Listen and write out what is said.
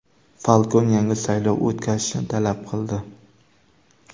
Falkon yangi saylov o‘tkazishni talab qildi.